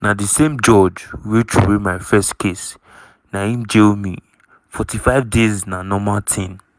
"na di same judge wey throway my first case na im jail me 45 days na normal tin.